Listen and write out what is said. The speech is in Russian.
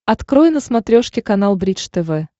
открой на смотрешке канал бридж тв